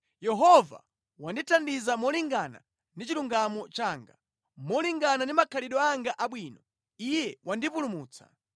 “Yehova wandithandiza molingana ndi chilungamo changa; molingana ndi makhalidwe anga abwino, Iye wandipulumutsa.